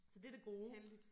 Så det det gode